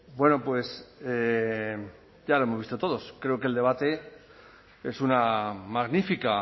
bueno ya lo hemos visto todos creo que el debate es una magnífica